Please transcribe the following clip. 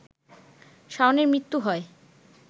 শাওনের মৃত্যু হয়